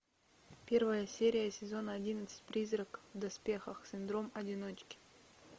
первая серия сезона одиннадцать призрак в доспехах синдром одиночки